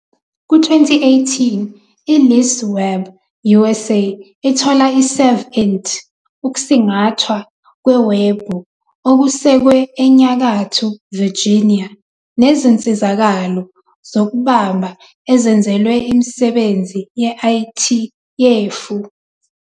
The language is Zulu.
Ku-2018, iLeaseweb USA ithola iServInt, ukusingathwa kwewebhu okusekwe eNyakatho Virginia nezinsizakalo zokubamba ezenzelwe imisebenzi ye-IT yefu.